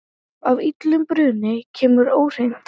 Af illum brunni kemur óhreint vatn.